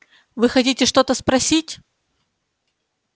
вы хотите что-то спросить